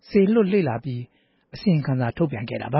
စေလွှတ်လေ့လာပြီး ထုတ်ပြန်ခဲ့တာပ